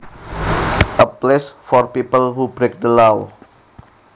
A place for people who break the law